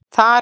Þar af.